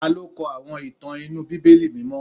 Ta ló kọ àwọn ìtàn inú Bíbélì mímọ́?